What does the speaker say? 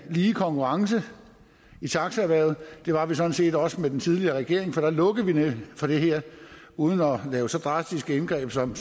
lige konkurrence i taxaerhvervet det var vi sådan set også med den tidligere regering for da lukkede vi nemlig for det her uden at lave så drastiske indgreb som